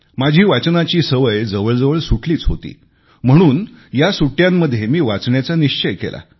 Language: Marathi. माझी वाचनाची सवय जवळजवळ सुटलीच होती म्हणूनच या सुट्ट्यांमध्ये मी वाचण्याचा निश्चय केला